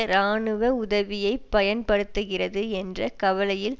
இராணுவ உதவியை பயன்படுத்துகிறது என்ற கவலையில்